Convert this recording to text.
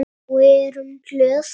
Og erum glöð.